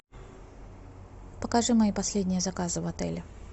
покажи мои последние заказы в отеле